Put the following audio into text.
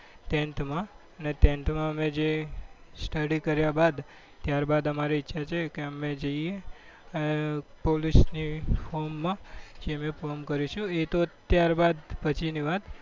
ટેન્થમાં અને ટેન્થમાં જે અમે study કર્યા બાદ ત્યારબાદ અમારી ઈચ્છા છે કે અમે જઈએ પોલીસની ફોર્મમાં જે અમે ફોર્મ કરીશું એ તો ત્યારબાદ પછીની વાત.